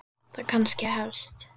Það kannski hefst.